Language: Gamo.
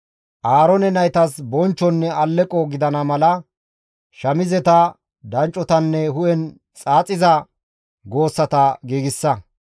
Aaroone naytas bonchchonne alleqo gidana mala, shamizeta, danccotanne hu7en xaaxiza goossata giigsa.